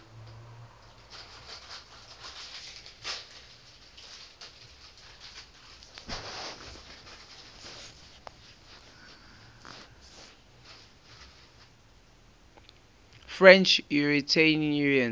french unitarians